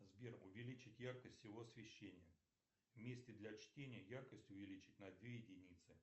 сбер увеличить яркость всего освещения в месте для чтения яркость увеличить на две единицы